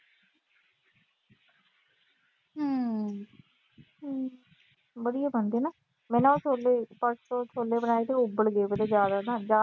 ਵਧੀਆ ਬਣਦੀ ਆ। ਮੈਂ ਨਾ ਛੋਲੇ ਅਹ ਪਰਸੋਂ ਛੋਲੇ ਬਣਾਏ ਤੇ ਉਹ ਉਬਲ ਗਏ ਥੋੜੇ ਜਿਆਦਾ।